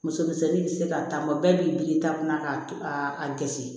Muso misɛnnin bɛ se ka taa bɛɛ b'i biri taa kɔnɔ k'a to a dɛsɛ